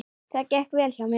Það gekk vel hjá mér.